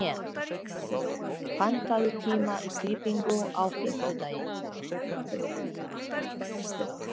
Evgenía, pantaðu tíma í klippingu á fimmtudaginn.